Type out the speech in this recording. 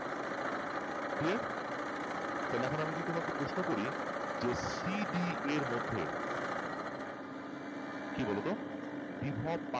clear তাহলে এখন আমি যদি তোমাদের প্রশ্ন করি যে cd এর মধ্যে কি বলতো বিভব পার্থক্য কত